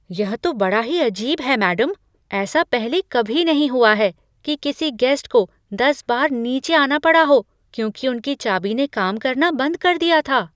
यह तो बड़ा ही अजीब है, मैडम। ऐसा पहले कभी नहीं हुआ है कि किसी गेस्ट को दस बार नीचे आना पड़ा हो, क्योंकि उनकी चाबी ने काम करना बंद कर दिया था।